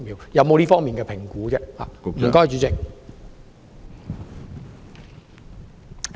有否這方面的評估？